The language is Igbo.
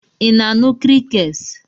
Ị na-anụ crickets?